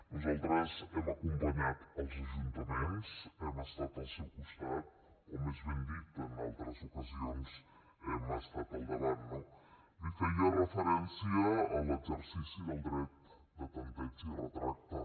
nosaltres hem acompanyat els ajuntaments hem estat al seu costat o més ben dit en altres ocasions hi hem estat al davant no li feia referència a l’exercici del dret de tanteig i retracte